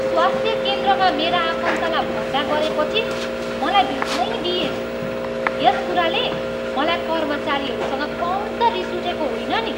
स्वास्थ्य केन्द्रमा मेरा आफन्तलाई भर्ना गरेपछि मलाई भेट्नै दिइएन। यस कुराले मलाई कर्मचारीहरूसँग कम त रिस उठेको होइन नि।